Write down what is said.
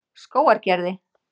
Skógargerði